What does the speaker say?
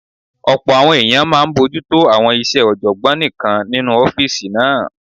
Ọ̀pọ̀ àwọn èèyàn máa n bojútó àwọn iṣẹ́ ọ̀jọ̀gbọ́n nìkan nínu ọ́fìsì náà